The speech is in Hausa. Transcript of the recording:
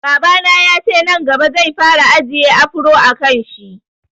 Babana yace nan gaba zai fara ajiye afro a kanshi